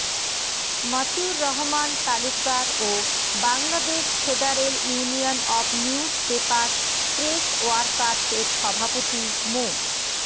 মতিউর রহমান তালুকদার ও Bangladesh federal union of news paper press workers এর সভাপতি মো